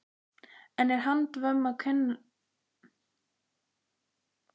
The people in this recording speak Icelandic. En er handvömm um að kenna að svona fer?